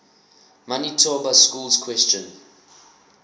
manitoba schools question